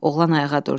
Oğlan ayağa durdu.